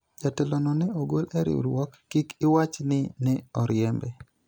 jatelo no ne ogol e riwruok ,kik iwach ni ne oriembe